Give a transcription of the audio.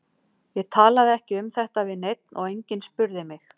Ég talaði ekki um þetta við neinn og enginn spurði mig.